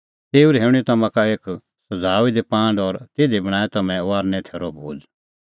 तेऊ रहैऊंणीं तम्हां का एक सज़ाऊई दी पांड और तिधी करै तम्हैं भोज़े तैरी